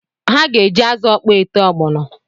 Ha ga-eji azụ ọkpọ ete ọgbọnọ